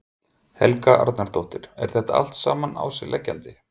Helga Arnardóttir: Er þetta allt saman á sig leggjandi?